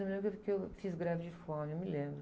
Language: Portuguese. Eu me lembro que eu, eu fiz greve de fome, eu me lembro.